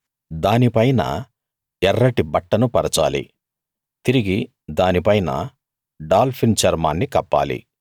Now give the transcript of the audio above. దాని పైన ఎర్రటి బట్టను పరచాలి తిరిగి దాని పైన డాల్ఫిన్ చర్మాన్ని కప్పాలి